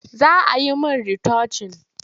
Za a yi min ritocin.